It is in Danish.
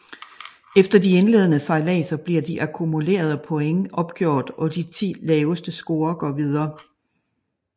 Efter de indledende sejladser bliver de akkumulerede points opgjort og de ti laveste scorer går videre